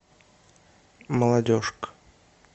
молодежка